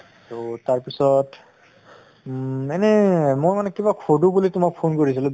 তʼ তাৰ পিছত উম এনে মই মানে কিবা সুধো বুলি তোমাক phone কৰিছিলো